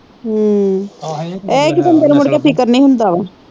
ਹਮ ਇਹ ਕੀ ਬੰਦੇ ਨੂੰ ਮੁੜਕੇ ਫਿਕਰ ਨਹੀਂ ਹੁੰਦਾ ਵਾ।